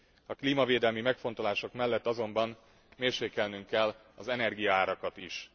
A klímavédelmi megfontolások mellett azonban mérsékelnünk kell az energiaárakat is.